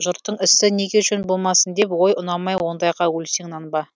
жұрттың ісі неге жөн болмасын деп ой ұнамай ондайға өлсең нанба